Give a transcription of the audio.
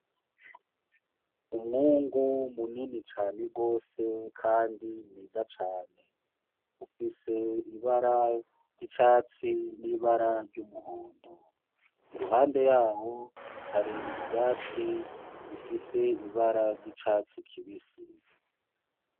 Umwungu munini cane gose kandi mwiza cane. ufise ibara ry'icatsi n'ibara ry'umuhondo. Iruhande yaho hari ivyatsi bifise ibara ry'icatsi kibisi.